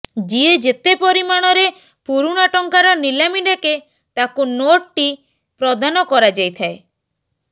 ଯିଏ ଯେତେ ପରିମାଣରେ ପୁରୁଣା ଟଙ୍କାର ନିଲାମି ଡାକେ ତାକୁ ନୋଟ୍ ଟି ପ୍ରଦାନ କରାଯାଇଥାଏ